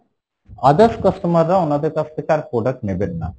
others customer রা উনাদের কাছ থেকে আর product নেবেন না।